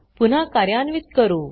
पुन्हा कार्यान्वित करू